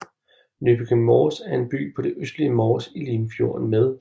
Nykøbing Mors er en by på det østlige Mors i Limfjorden med